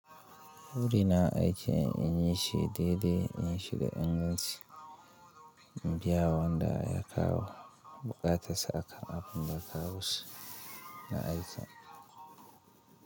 Buri na aiki an yi shi daidai, an yi shi da inganci, in biyawa wanda ya kawo buƙatar sa akan abin da ka wuce na aiki.